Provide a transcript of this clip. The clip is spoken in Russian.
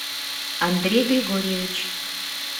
андрей григорьевич